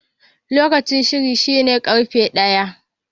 Lokacin shiri shine karfe ɗaya.